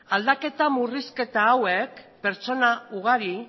aldaketa murrizketa hauek pertsona ugari